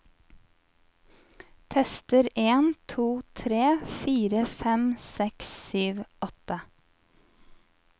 Tester en to tre fire fem seks sju åtte